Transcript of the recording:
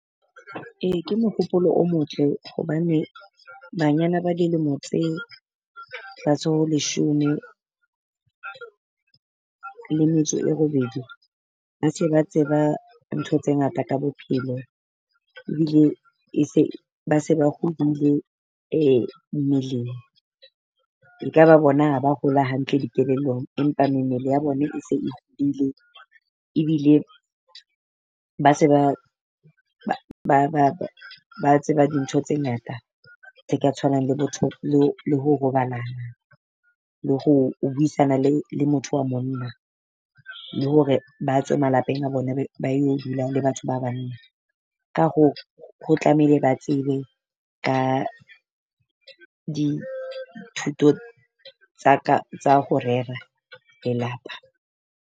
Ee ke mohopolo o motle hobane banyana ba dilemo tse holeshome le metso e robedi, ba se ba tseba ntho tse ngata ka bophelo ebile e se ba se ba hodule mmeleng. E ka ba bona ha ba hola hantle dikelellong, empa mmele ya bona e se e hodile. Ebile ba se ba ba tseba dintho tse ngata tse ka tshwanang le botho, lo le ho robalana le ho o buisana le le motho wa monna, le hore ba tswe malapeng a bone, ba yo dula le batho ba banna. Ka hoo ho tlamehile ba tsebe ka dithuto tsa ka tsa ho rera lelapa.